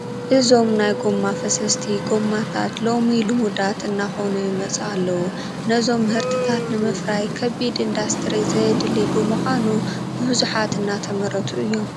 እዞም ናይ ጐማ ፈሰስቲ ጐማታት ሎሚ ልሙዳት እናኾኑ ይመፁ ኣለዉ፡፡ ነዞም ምህርትታት ንምፍራይ ከቢድ ኢንዳስትሪ ዘየድሊ ብምዃኑ ብብዙሓት እናተመረቱ እዮም፡፡